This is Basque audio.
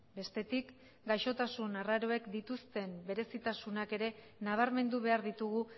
bestetik gaixotasun arraroek dituzten berezitasunak ere nabarmendu behar ditugu